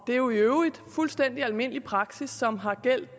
det er jo i øvrigt fuldstændig almindelig praksis som har gjaldt